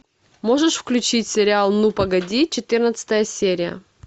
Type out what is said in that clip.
можешь включить сериал ну погоди четырнадцатая серия